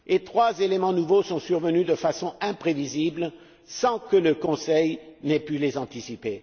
Trois éléments nouveaux sont survenus de façon imprévisible sans que le Conseil n'ait pu les anticiper.